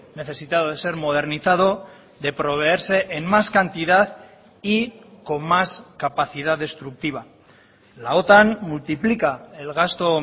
necesitado de ser modernizado de proveerse en más cantidad y con más capacidad destructiva la otan multiplica el gasto